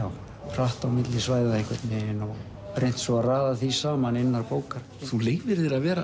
hratt á milli svæða einhvern veginn og reynt svo að raða því saman innan bókar þú leyfir þér að vera